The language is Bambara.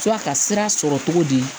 F'a ka sira sɔrɔ cogo di